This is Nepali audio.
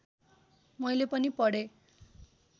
मैले पनि पढेँ